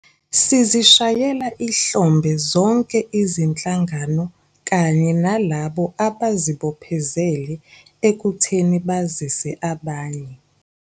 Sizishayela ihlombe zonke izinhlangano kanye nalabo abazibophezele ekutheni bazise abanye.